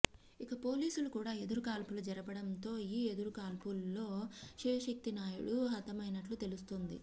ఇక పోలీసులు కూడా ఎదురుకాల్పులు జరపడం తో ఈ ఎదురుకాల్పుల్లో శివశక్తి నాయుడు హతమైనట్లు తెలుస్తుంది